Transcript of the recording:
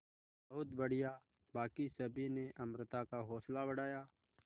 बहुत बढ़िया बाकी सभी ने अमृता का हौसला बढ़ाया